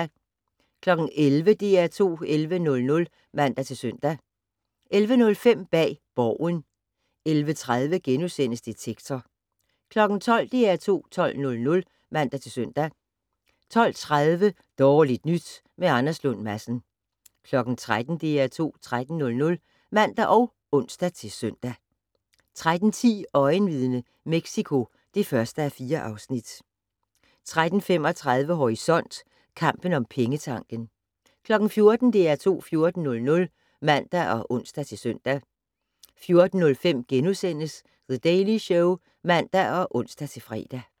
11:00: DR2 11:00 (man-søn) 11:05: Bag Borgen 11:30: Detektor * 12:00: DR2 12:00 (man-søn) 12:30: Dårligt nyt med Anders Lund Madsen 13:00: DR2 13:00 (man og ons-søn) 13:10: Øjenvidne - Mexico (1:4) 13:35: Horisont: Kampen om pengetanken 14:00: DR2 14:00 (man og ons-søn) 14:05: The Daily Show *(man og ons-fre)